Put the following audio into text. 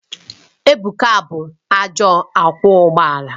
Ebuka bụ ajọ ọkwọ ụgbọ ala